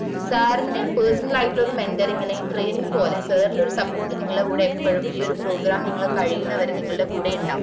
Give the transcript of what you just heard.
sir ന്റെ personel ആയിട്ടുള്ള ഒരു mentoring അല്ലെങ്കില് training പോലെ sir ന്റെ support നിങ്ങൾടെ കൂടെ എപ്പഴും ഈ ഒര് program നിങ്ങള് കഴിയുന്ന വരെ നിങ്ങള്ടെ കൂടെ ഉണ്ടാവും